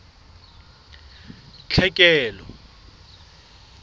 tlhekelo